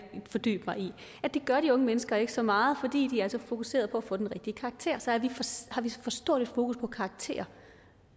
fordybe mig i gør de unge mennesker ikke så meget fordi de er så fokuserede på at få den rigtige karakter så har vi for stort et fokus på karakterer